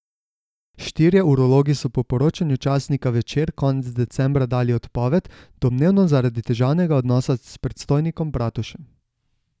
Štirje urologi so po poročanju časnika Večer konec decembra dali odpoved, domnevno zaradi težavnega odnosa s predstojnikom Bratušem.